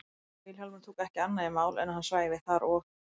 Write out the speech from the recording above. Vilhjálmur tók ekki annað í mál en að hann svæfi þar og